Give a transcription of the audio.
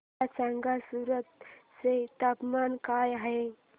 मला सांगा सूरत चे तापमान काय आहे